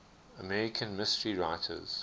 american mystery writers